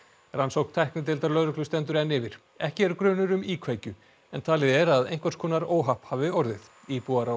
rannsókn tæknideildar lögreglu stendur enn yfir ekki er grunur um íkveikju en talið er að einhvers konar óhapp hafi orðið íbúar á